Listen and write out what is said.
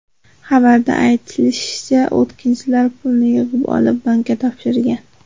Xabarda aytilishicha, o‘tkinchilar pulni yig‘ib olib, bankka topshirgan.